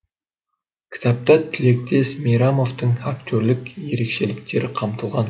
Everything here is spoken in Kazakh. кітапта тілектес мейрамовтың актерлік ерекшеліктері қамтылған